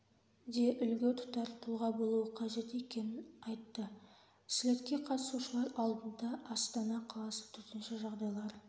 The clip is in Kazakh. де үлгі тұтар тұлға болуы қажет екенін айтты слетке қатысушылар алдында астана қаласы төтенше жағдайлар